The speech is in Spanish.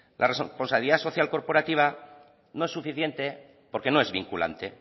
la responsabilidad social corporativa no es suficiente porque no es vinculante